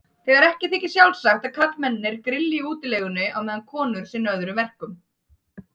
Þegar ekki þykir sjálfsagt að karlmennirnir grilli í útilegunni á meðan konur sinni öðrum verkum.